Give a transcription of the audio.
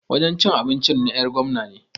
Wajen cin abincin na 'yar gwamna ne.